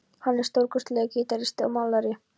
Hann er stórkostlegur gítaristi og málari.